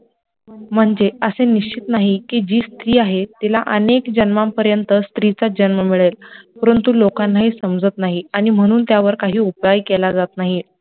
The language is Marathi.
म्हणजे असे निश्चित नाही की जी स्री आहे तिला अनेक जन्मा पर्यंत स्त्रीचा जन्म मिळेल परंतु लोकांना हे समजत नाही आणी म्हणुन त्यावर काही उपाय केला जात नाही